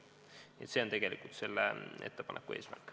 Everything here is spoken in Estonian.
Nii et see on tegelikult selle ettepaneku eesmärk.